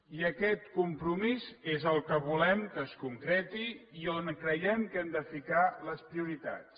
i aquest compromís és el que volem que es concreti i on creiem que hem de ficar les prioritats